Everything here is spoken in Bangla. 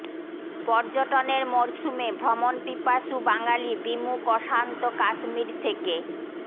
পর্যটনের মরশুমে ভ্রমণ পিপাসু বাঙালি বিমুখ অশান্ত কাশ্মীর থেকে